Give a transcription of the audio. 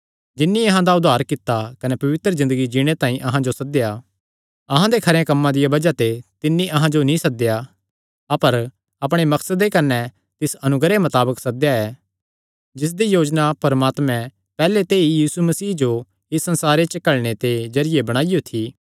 जिन्नी अहां दा उद्धार कित्ता कने पवित्र ज़िन्दगी जीणे तांई अहां जो सद्देया अहां दे खरेया कम्मां दिया बज़ाह ते तिन्नी अहां जो नीं सद्देया अपर अपणे मकसदे कने तिस अनुग्रह मताबक सद्देया ऐ जिसदी योजना परमात्मे पैहल्ले ते ई यीशु मसीह जो इस संसारे च घल्लणे दे जरिये बणाईयो थी